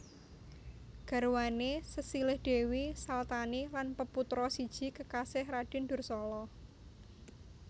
Garwane sesilih Dewi Salthani lan peputra siji kekasih Raden Dursala